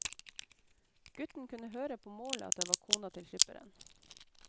Gutten kunne høre på målet at det var kona til skipperen.